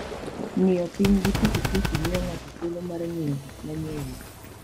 Ng'iyo piny gi pikipiki miyo ng'ato thuolo mar ng'iyo gik manie iye.